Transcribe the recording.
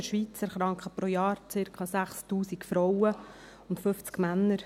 In der Schweiz erkranken pro Jahr circa 6000 Frauen und 50 Männer.